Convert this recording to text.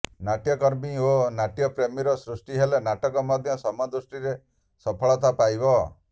ନାଟ୍ୟକର୍ମୀ ଓ ନାଟ୍ୟପ୍ରେମୀର ସୃଷ୍ଟି ହେଲେ ନାଟକ ମଧ୍ୟ ସମ ଦୃଷ୍ଟିରେ ସଫଳତା ପାଇବ